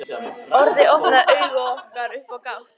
Orðið opnaði augu okkar upp á gátt.